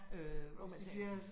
Øh hvis de tage for sig